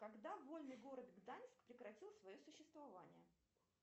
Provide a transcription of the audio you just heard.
когда вольный город гданьск прекратил свое существование